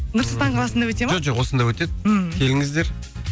нұр сұлтан қаласында өтеді ма жоқ жоқ осында өтеді мхм келіңіздер